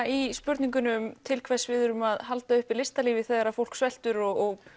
í spurningunni um til hvers við erum að halda uppi listalífi þegar fólk sveltur og